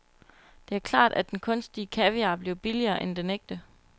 Det er klart, at den kunstige kaviar bliver billigere end den ægte.